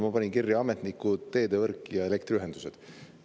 Ma panin kirja ametnikud, teedevõrk ja elektriühendused.